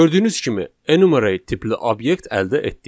Gördüyünüz kimi, enumerate tipli obyekt əldə etdik.